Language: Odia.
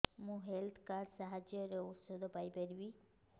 ମୁଁ ହେଲ୍ଥ କାର୍ଡ ସାହାଯ୍ୟରେ ଔଷଧ ପାଇ ପାରିବି